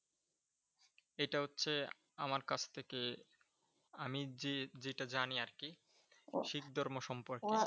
এটা হচ্ছে আমার কাছ থেকে আমি যে যেটা জানি আর কি শিখ ধর্ম সম্পর্কে।